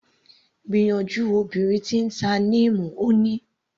Gbìyànjú obìnrin tí ń ta Neem, Ó ní.